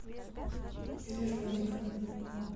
пережогина